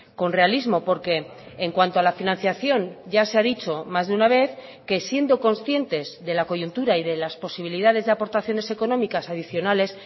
con realismo porque en cuanto a la financiación ya se ha dicho más de una vez que siendo conscientes de la coyuntura y de las posibilidades de aportaciones económicas adicionales